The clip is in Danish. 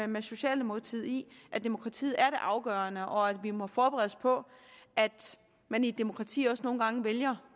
med socialdemokratiet i at demokratiet er det afgørende og at vi må forberede os på at man i et demokrati også nogle gange vælger